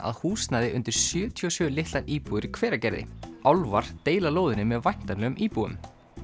að húsnæði undir sjötíu og sjö litlar íbúðir í Hveragerði álfar deila lóðinni með væntanlegum íbúum